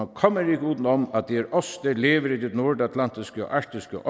kommer ikke udenom at det er os der lever i det nordatlantiske og arktiske